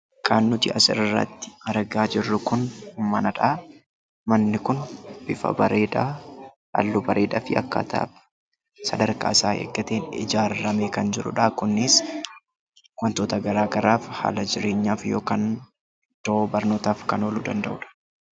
Kan nuti asirratti argaa jirru kun manadha. Manni kun bifaa fi halluu bareedaadhaan akkaataa sadarkaa isaa eeggateen ijaarame kan jirudha. Kunis wantoota garaa garaaf, haala jireenyaaf yookiin daree barnootaaf kan ooluu danda'udha.